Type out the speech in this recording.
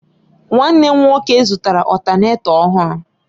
Nwanne m nwoke zụtara Ọtánètọ ọhụrụ